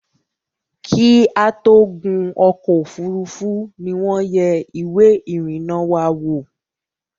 Kí a tó gún ọ̀kọ̀ ofúrufú ni wọ́n yẹ ìwé ìrìnà wa wò